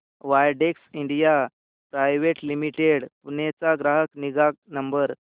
Widex India private limited Pune चा ग्राहक निगा नंबर